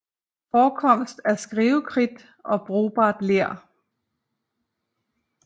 Forekomst af skrivekridt og brugbart ler